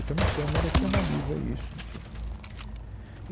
E tem uma câmara que analisa isso, enfim.